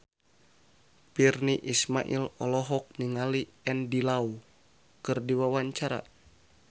Virnie Ismail olohok ningali Andy Lau keur diwawancara